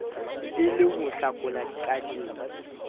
e le ho hlakola dikadimo